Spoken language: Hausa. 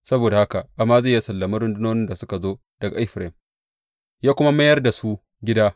Saboda haka Amaziya ya sallame rundunonin da suka zo daga Efraim, ya kuma mayar da su gida.